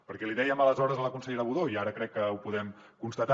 perquè li dèiem aleshores a la consellera budó i ara crec que ho podem constatar